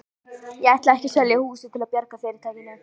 Ég ætla ekki að selja húsið til að bjarga fyrirtækinu.